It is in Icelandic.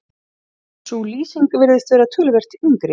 sú lýsing virðist vera töluvert yngri